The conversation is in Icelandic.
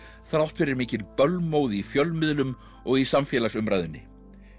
þrátt fyrir mikinn bölmóð í fjölmiðlum og í samfélagsumræðunni